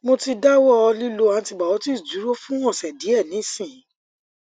mo ti dawọ lilo antibiotics dun fun ose diẹ nisin